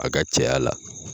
A ka cɛya la